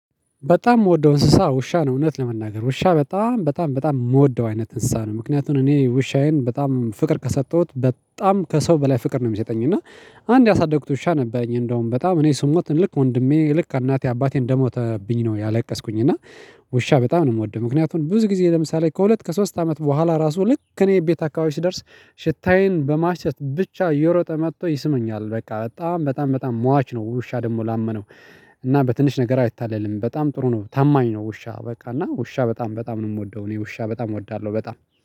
በጣም ምወደው እንስሳ ውሻ ነው እውነት ለመናገር ውሻ በጣም በጣም በጣም ምወደው አይነት እንስሳ ነው ምክንያቱም እኔ ውሻዬን በጣም ፍቅር ከሰጠሁት በጣም ከሰው በላይ ፍቅር ነው። ሚሰጠኝ እና አንድ ያሳደግኩት ውሻ ነበረኝ እንዳውም በጣም እኔ ስሞት ልክ ወንድሜ ልክ እናቴ አባቴን እንደሞተብኝ ነው ያለቀስኩኝ እና። ውሻ በጣም ነው ምወደው ምክንያቱም ብዙ ጊዜ ለምሳሌ ከሁለት ከሶስት አመት በኋላ ራሱ ልክ እኔ ቤት አካባቢ ስደርስ ሽታዬን በማሽተት ብቻ እየሮጠ መቶ ይስመኛል። በቃ በጣም በጣም በጣም ሟች ነው ውሻ ደሞ ላመነው። እና በትንሽ ነገር አይታለልም በጣም ጥሩ ነው ታማኝ ነው። ውሻ በቃ እና ውሻ በጣም በጣም ነው ምወደው እኔ ውሻ በጣም እወዳለሁ በጣም